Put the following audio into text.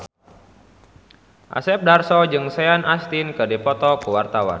Asep Darso jeung Sean Astin keur dipoto ku wartawan